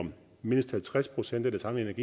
om at mindst halvtreds procent af det samlede